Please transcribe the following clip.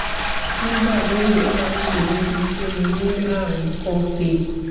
nígbà míì ó máa ń ṣe mí bíi pé mo ní ààrùn ikọ́ fée